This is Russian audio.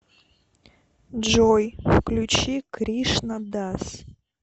джой включи кришна дас